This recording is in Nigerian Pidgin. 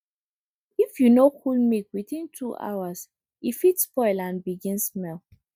if you no cool milk within two hours e fit spoil and begin smell